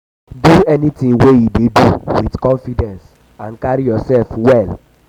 do anything wey you dey do with confidence and carry yourself well